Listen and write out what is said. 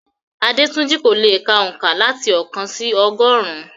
Adetunji kò lè ka oǹkà láti oókan sí ọgọ́rùn-ún.